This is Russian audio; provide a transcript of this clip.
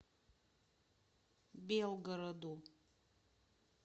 белгороду